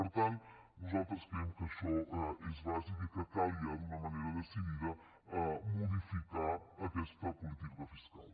per tant nosaltres creiem que això és bàsic i que cal ja d’una manera decidida modificar aquesta política fiscal